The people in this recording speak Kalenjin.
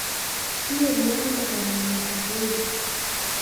Kinyorunen ano kanamwetap uhuru